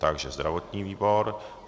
Takže zdravotní výbor.